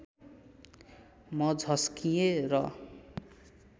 म झस्किएँ र